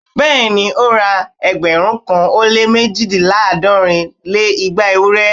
Bẹ́ẹ̀ni ó ra ẹgbẹ̀rún kan ó lé méjìléláàádọ́rin lé igba ewúrẹ́